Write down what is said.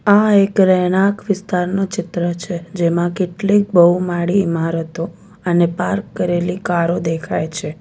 આ એક રહેણાંક વિસ્તારનુ ચિત્ર છે જેમાં કેટલીક બહુમાળી ઈમારતો અને પાર્ક કરેલી કારો દેખાય છે.